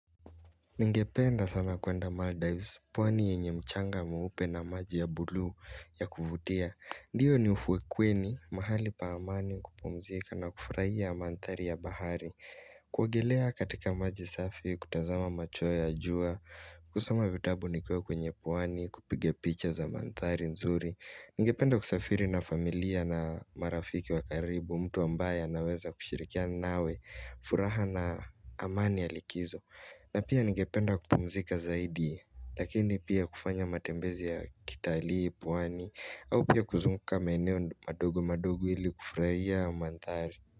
Ningependa sana kuenda Maldives, pwani yenye mchanga mweupe na maji ya buluu ya kuvutia. Ndiyo ni ufwekweni, mahali pa amani kupumzika na kufurahia mandhari ya bahari. Kuogelea katika maji safi, kutazama macho ya jua, kusoma vitabu nikiwa kwenye pwani, kupige picha za mandhari nzuri. Ningependa kusafiri na familia na marafiki wa karibu, mtu ambaye anaweza kushirikia nawe, furaha na amani ya likizo. Na pia nigependa kupumzika zaidi, lakini pia kufanya matembezi ya kitalii, pwani, au pia kuzunguka maeneo madogo madogo ili kufurahia mandhari.